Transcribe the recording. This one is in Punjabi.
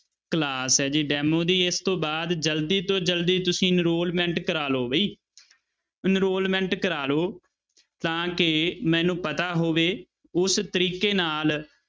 class ਹੈ ਜੀ demo ਦੀ ਇਸ ਤੋਂ ਬਾਅਦ ਜ਼ਲਦੀ ਤੋਂ ਜ਼ਲਦੀ ਤੁਸੀਂ enrollment ਕਰਵਾ ਲਓ ਵੀ enrollment ਕਰਵਾ ਲਓ ਤਾਂ ਕਿ ਮੈਨੂੰ ਪਤਾ ਹੋਵੇ ਉਸ ਤਰੀਕੇ ਨਾਲ